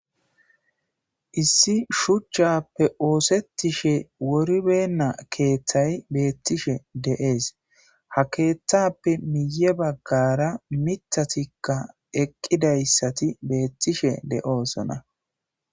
Issi shuchchaappe ooseththishe woribeenna keeththay beeththishe de7ees; ha keeththaappe miyye baggaara miththathikka eqqidayssathi beeththishe de7oosona.